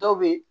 Dɔw be yen